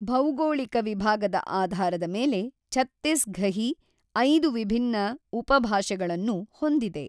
ಭೌಗೋಳಿಕ ವಿಭಾಗದ ಆಧಾರದ ಮೇಲೆ ಛತ್ತೀಸ್ ಘಹಿ ಐದು ವಿಭಿನ್ನ ಉಪಭಾಷೆಗಳನ್ನು ಹೊಂದಿದೆ.